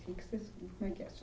Como é que vocês como é que era